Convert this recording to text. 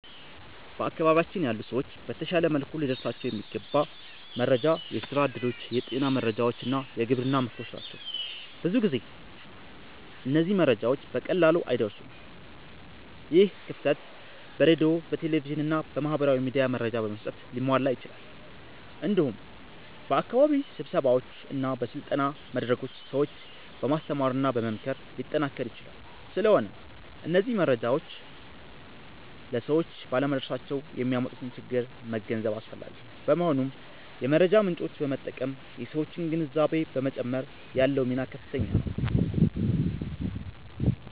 በአካባቢያችን ያሉ ሰዎች በተሻለ መልኩ ሊደርሳቸው የሚገባ መረጃ የስራ እድሎች፣ የጤና መረጃዎች እና የግብርና ምክሮች ናቸው። ብዙ ጊዜ እነዚህ መረጃዎች በቀላሉ አይደርሱም። ይህ ክፍተት በሬዲዮ፣ በቴሌቪዥን እና በማህበራዊ ሚዲያ መረጃ በመስጠት ሊሟላ ይችላል። እንዲሁም በአካባቢ ስብሰባዎች እና በስልጠና መድረኮች ሰዎችን በማስተማርና በመምከር ሊጠናከር ይችላል። ስለሆነም እነዚህ መረጃዎች ለሰዎች ባለመድረሳቸው የሚያመጡትን ችግር መገንዘብ አስፈላጊ ነው። በመሆኑም የመረጃ ምጮችን በመጠቀም የሠዎችን ግንዛቤ በመጨመር ያለው ሚና ከፍተኛ ነው።